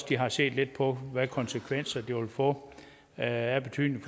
de har set lidt på hvad for konsekvenser det vil få af betydning